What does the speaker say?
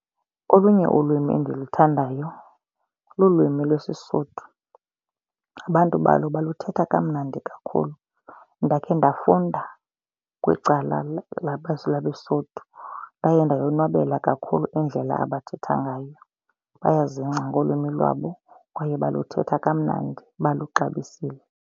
Olunye ulwimi endiluthandayo lulwimi lwesiSuthu. Abantu balo baluthetha kamnandi kakhulu. Ndakhe ndafunda kwicala labeSuthu. Ndaye ndayonwabela kakhulu indlela abathetha ngayo. Bayazingca ngolwimi lwabo kwaye baluthetha kamnandi baluxabisile.